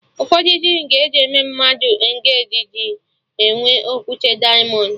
Ụfọdụ rịng eji eme mmadụ engeji na-enwe okwute dịamọnd